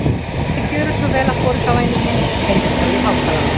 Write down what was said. Viltu gjöra svo vel að borga, væni minn heyrðist þá í hátalaranum.